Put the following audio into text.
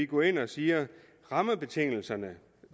går ind og siger at rammebetingelserne